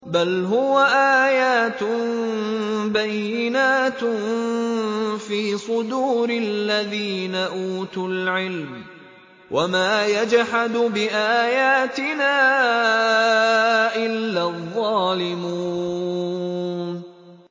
بَلْ هُوَ آيَاتٌ بَيِّنَاتٌ فِي صُدُورِ الَّذِينَ أُوتُوا الْعِلْمَ ۚ وَمَا يَجْحَدُ بِآيَاتِنَا إِلَّا الظَّالِمُونَ